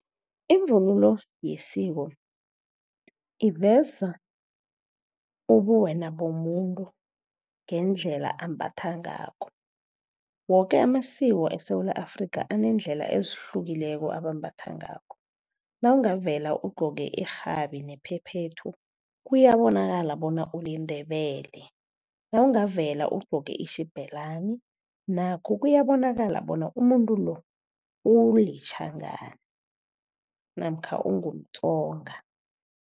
Ivunulo yesiko iveza ubuwena bomuntu ngendlela ambatha ngakho. Woke amasiko eSewula Afrikha, aneendlela ezihlukileko abambatha ngakho. Nawungavela ugcoke irhabi nephephethu, kuyabonakala bona uliNdebele. Nawungavela ugcoke i-xibelani, nakho kuyabonakala bona umuntu lo uliTjhangani namkha ungumTsonga.